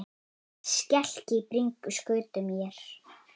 Skelk í bringu skutu mér.